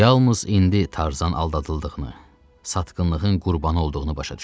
Yalnız indi Tarzan aldadıldığını, satqınlığın qurbanı olduğunu başa düşdü.